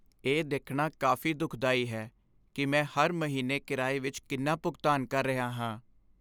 ਇਹ ਦੇਖਣਾ ਕਾਫ਼ੀ ਦੁਖਦਾਈ ਹੈ ਕਿ ਮੈਂ ਹਰ ਮਹੀਨੇ ਕਿਰਾਏ ਵਿੱਚ ਕਿੰਨਾ ਭੁਗਤਾਨ ਕਰ ਰਿਹਾ ਹਾਂ।